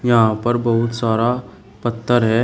यहां पर बहुत सारा पत्थर है।